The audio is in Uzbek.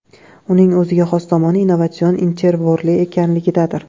Uning o‘ziga xos tomoni innovatsion invertorli ekanligidadir.